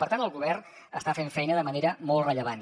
per tant el govern està fent feina de manera molt rellevant